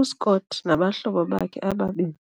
U-Scott nabahlobo bakhe ababini